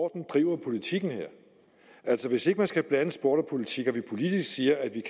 driver politikken her altså hvis ikke man skal blande sport og politik og vi politisk siger at vi